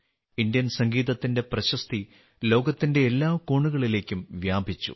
Indian സംഗീതത്തിന്റെ പ്രശസ്തി ലോകത്തിന്റെ എല്ലാ കോണുകളിലേക്കും വ്യാപിച്ചു